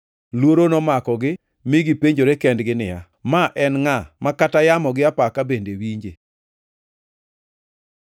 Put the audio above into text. Luoro nomakogi mi gipenjore kendgi niya, “Ma en ngʼa, ma kata yamo gi apaka bende winje?”